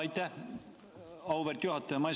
Aitäh, auväärt juhataja!